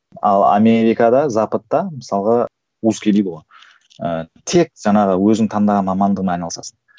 ал америкада западта мысалға узкий дейді ғой ыыы тек жаңағы өзің таңдаған мамандығыңмен айналысасың